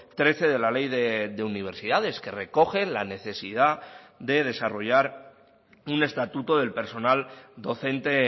trece de la ley de universidades que recoge la necesidad de desarrollar un estatuto del personal docente